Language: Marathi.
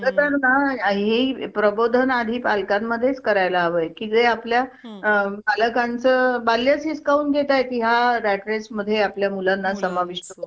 अं नमस्कार madam मला थोडं inquiry करायची होती अं तुमच्या hospital मध्ये admission साठी अं माझे आजोबाना kidney stone चा त्रास होतोय.